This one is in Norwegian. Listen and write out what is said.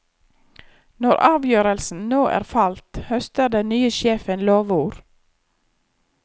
Når avgjørelsen nå er falt, høster den nye sjefen lovord.